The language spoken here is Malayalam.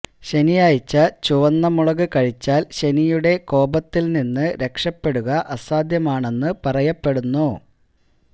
ശനിയാഴ്ച ചുവന്ന മുളക് കഴിച്ചാല് ശനിയുടെ കോപത്തില് നിന്ന് രക്ഷപ്പെടുക അസാധ്യമാണെന്ന് പറയപ്പെടുന്നു